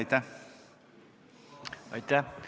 Aitäh!